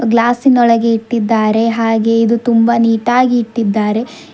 ಗ್ಲಾಸಿನೊಳಗೆ ಇಟ್ಟಿದ್ದಾರೆ ಹಾಗೆ ಇದು ತುಂಬಾ ನೀಟಾಗಿ ಇಟ್ಟಿದ್ದಾರೆ.